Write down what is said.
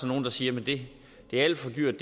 nogle der siger at det er alt for dyrt